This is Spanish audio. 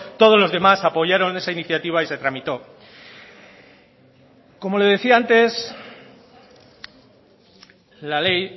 todos los demás apoyaron esa iniciativa y se tramitó como le decía antes la ley